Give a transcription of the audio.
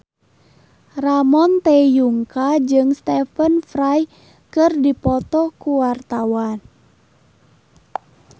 Ramon T. Yungka jeung Stephen Fry keur dipoto ku wartawan